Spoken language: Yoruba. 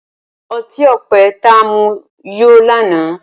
ọti-ọpẹ ta mu yó lànà.